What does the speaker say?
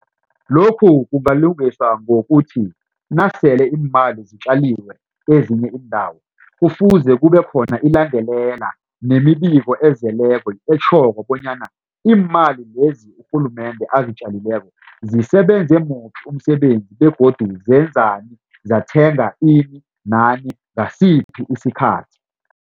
Lokhu kungalungiswa ngokuthi nasele iimali zitjaliwe kwezinye iindawo kufuze kube khona ilandelela nemibiko ezeleko etjhoko bonyana iimali lezi urhulumende azitjalileko zisebenze muphi umsebenzi begodu zenzani zathenga ini nana ngasiphi isikhathi.